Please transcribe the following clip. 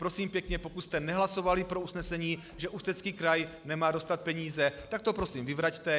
Prosím pěkně, pokud jste nehlasovali pro usnesení, že Ústecký kraj nemá dostat peníze, tak to prosím vyvraťte.